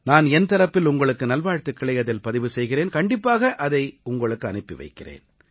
நான் என் தரப்பில் உங்களுக்கு நல்வாழ்த்துக்களை அதில் பதிவு செய்கிறேன் கண்டிப்பாக இதை உங்களுக்கு அனுப்பி வைக்கிறேன்